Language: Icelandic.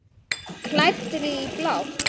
Klæddri í blátt.